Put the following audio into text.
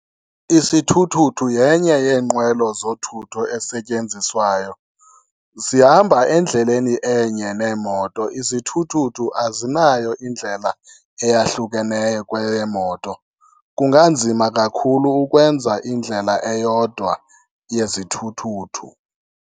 Isithuthuthu yenye yeenkqwelo zothutho esetyenziswayo. Zihamba endleleni enye neemoto, izithuthuthu azinayo indlela eyahlukeneyo kweyeemoto. Kunganzima kakhulu ukwenza indlela eyodwa yezithuthuthu.